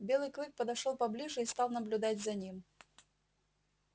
белый клык подошёл поближе и стал наблюдать за ним